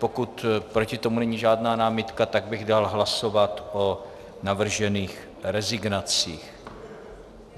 Pokud proti tomu není žádná námitka, tak bych dal hlasovat o navržených rezignacích.